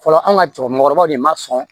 Fɔlɔ an ka cɛkɔrɔmukɔrɔbaw de ma sɔn